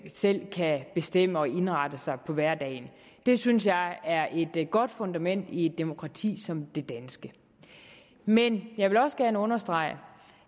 selv kan bestemme og indrette sig i hverdagen det synes jeg er et godt fundament i et demokrati som det danske men jeg vil også gerne understrege